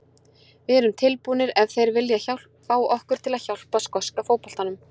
Við erum tilbúnir ef þeir vilja fá okkur til að hjálpa skoska fótboltanum.